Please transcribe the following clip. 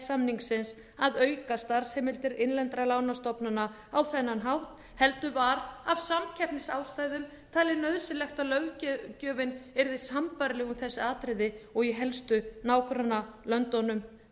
samningsins að auka starfsheimildir innlendra lánastofnana á þennan hátt heldur var af samkeppnisástæðum talið nauðsynlegt að löggjöfin yrði sambærileg um þessi atriði og í helstu nágrannalöndunum